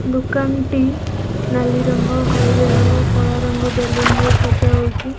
ଦୋକାନଟି ନାଲି ରଙ୍ଗ ହଳଦିଆ ରଙ୍ଗ କଳା ରଙ୍ଗ ବେଲୁନ ରେ ସଜା ହୋଇଚି।